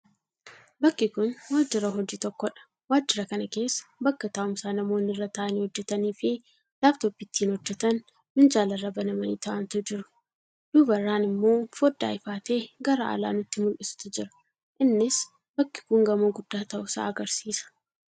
Bakki kun waajira hojii tokkodha. Waajira kana keessa bakka taa'umsaa namoonni irra taa'anii hojjataniifi laaptoopii ittin hojjatan minjaalarra banamanii taa'antu jiru. Duubarraan immoo foddaa ifaa ta'ee gara alaa nutti mul'isutu jira innis bakki kun gamoo guddaa ta'uusaa agarsiisa.